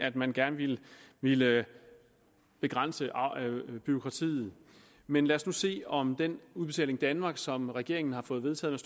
at man gerne ville ville begrænse bureaukratiet men lad os nu se om den udbetaling danmark som regeringen har fået vedtaget